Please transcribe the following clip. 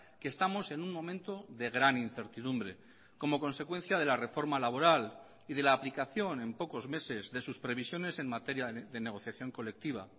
que estamos en un momento de gran incertidumbre como consecuencia de la reforma laboral y de la aplicación en pocos meses de sus previsiones en materia de negociación colectiva